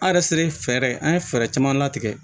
An yɛrɛ selen fɛɛrɛ an ye fɛɛrɛ caman latigɛ